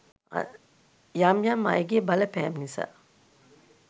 යම් යම් අයගේ බලපෑම් නිසා